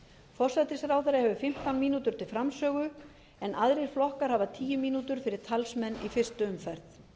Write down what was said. forsætisráðherra hefur fimmtán mínútur til framsögu en aðrir flokkar hafa tíu mínútur fyrir talsmenn í fyrstu umferð